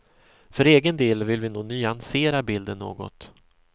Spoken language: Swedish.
För egen del vill vi nog nyansera bilden något.